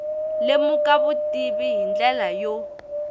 lemuka vutivi hi ndlela yo